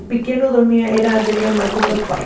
O pequeno dormia, era de minha mãe com meu pai.